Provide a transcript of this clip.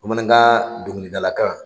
BamanankaN dɔnkilidalakalan